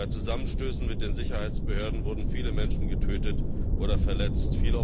bei Zusammenstößen mit den Sicherheitsbehörden wurden viele Menschen getötet oder verletzt.